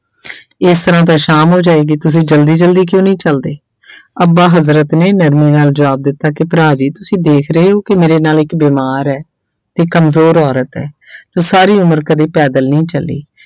ਇਸ ਤਰ੍ਹਾਂ ਤਾਂ ਸ਼ਾਮ ਹੋ ਜਾਏਗੀ, ਤੁਸੀਂ ਜ਼ਲਦੀ ਜ਼ਲਦੀ ਕਿਉਂ ਨਹੀਂ ਚੱਲਦੇ ਅੱਬਾ ਹਜ਼ਰਤ ਨੇ ਨਰਮੀ ਨਾਲ ਜ਼ਵਾਬ ਦਿੱਤਾ ਕਿ ਭਰਾ ਜੀ ਤੁਸੀਂ ਦੇਖ ਰਹੇ ਹੋ ਕਿ ਮੇਰੇ ਨਾਲ ਇੱਕ ਬਿਮਾਰ ਹੈ ਤੇ ਕੰਮਜ਼ੋਰ ਔਰ ਹੈ ਜੋ ਸਾਰੀ ਉਮਰ ਕਦੇ ਪੈਦਲ ਨਹੀਂ ਚੱਲੀ।